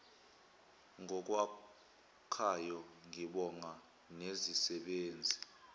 ngokwakhayo ngibonga nezisebenzi